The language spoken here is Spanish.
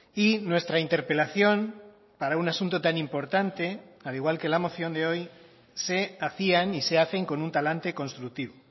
y nuestra interpelación para un asunto tan importante al igual que la moción de hoy se hacían y se hacen con un talante constructivo